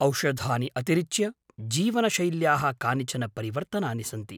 औषधानि अतिरिच्य जीवनशैल्याः कानिचन परिवर्तनानि सन्ति।